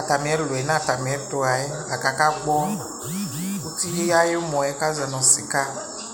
atamiɛluɛ natamiɛ tuɣayɛ kaka gbɔ ati ayumɔɛ kaʒɔnu sika